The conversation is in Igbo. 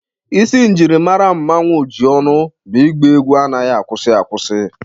Isi njirimara Mmanwu Ojionu bụ ịgba egwu anaghị akwụsị akwụsị